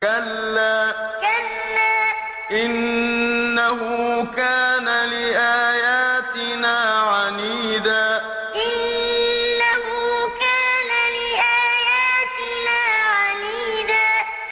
كَلَّا ۖ إِنَّهُ كَانَ لِآيَاتِنَا عَنِيدًا كَلَّا ۖ إِنَّهُ كَانَ لِآيَاتِنَا عَنِيدًا